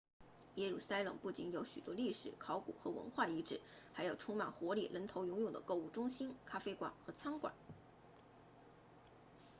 耶路撒冷不仅有许多历史考古和文化遗址还有充满活力人头涌涌的购物中心咖啡馆和餐馆